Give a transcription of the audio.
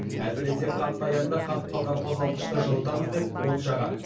әсіресе қатты аязда қатып қалған қозғалтқышты жылытамыз деп от жағады